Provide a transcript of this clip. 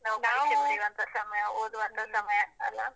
ನಾವು ಪರೀಕ್ಷೆ ಬರೀವಂತ. ಸಮಯ ಓದುವಂತ ಸಮಯ ಅಲ್ಲಾ?